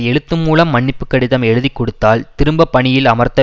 எழுத்துமூலம் மன்னிப்பு கடிதம் எழுதிக்கொடுத்தால் திரும்ப பணியில் அமர்த்த